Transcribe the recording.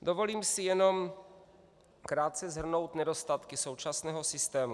Dovolím si jenom krátce shrnout nedostatky současného systému.